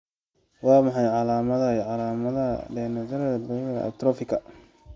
Waa maxay calaamadaha iyo calaamadaha Dentatorubralka pallidoluysianka atrophika?